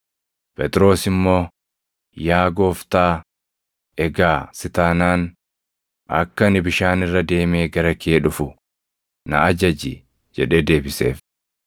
Phexros immoo, “Yaa Gooftaa! Egaa si taanaan, akka ani bishaan irra deemee gara kee dhufu na ajaji” jedhee deebiseef.